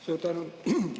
Suur tänu!